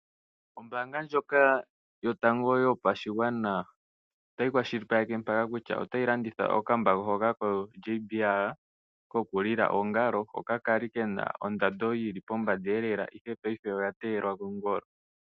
Ombanga ndjoka yotango yopashigwana otayi kwashilipaleke mpaka kutya otayi landitha okambako hoka koJBL kokulila oongalo hoka kali kena ondando yili pombanda lela ashike ngaashingeyi oya teyelwa kongolo.